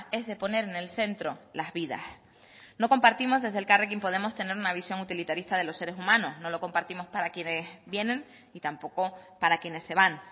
es de poner en el centro las vidas no compartimos desde elkarrekin podemos tener una visión utilitarista de los seres humanos no lo compartimos para quienes vienen y tampoco para quienes se van